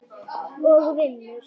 og vinnur.